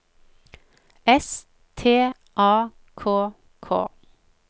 S T A K K